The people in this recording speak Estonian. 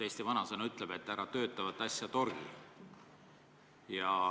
Eesti vanasõna ütleb, et ära töötavat asja torgi.